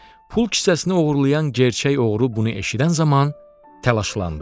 Pul kisəsini oğurlayan gerçək oğru bunu eşidən zaman təlaşlandı.